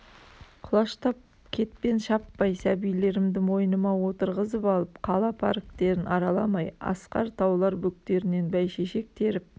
құлаштап кетпен шаппай сәбилерімді мойныма отырғызып алып қала парктерін араламай асқар таулар бөктерінен бәйшешек теріп